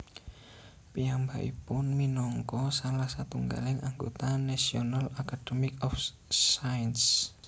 Piyambakipun minangka salah satunggaling anggota National Academy of Sciences